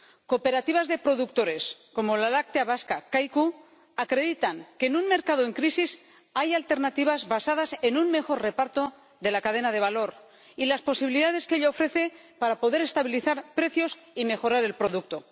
Cooperativas de productores, como la láctea vasca Kaiku, acreditan que en un mercado en crisis hay alternativas basadas en un mejor reparto de la cadena de valor, y las posibilidades que ello ofrece para poder estabilizar precios y mejorar el producto.